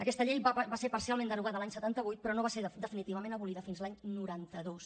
aquesta llei va ser parcialment derogada l’any setanta vuit però no va ser definitivament abolida fins l’any noranta dos